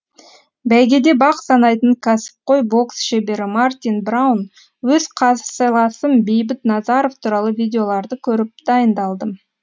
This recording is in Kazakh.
бәйгеде бақ санайтын кәсіпқой бокс шебері мартин браун өз қарсыласым бейбіт назаров туралы видеоларды көріп дайындалдым